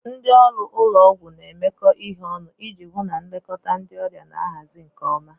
Ndị ọrụ ụlọ ọgwụ na-emekọ ihe ọnụ iji hụ na nlekọta ndị ọrịa na-ahazi na nke ọma.